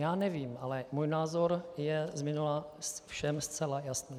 Já nevím, ale můj názor je z minula všem zcela jasný.